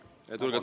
Vabandust, Jaak!